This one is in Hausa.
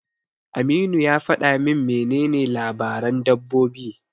Aminu ya faɗa min menene labaran dabbobi.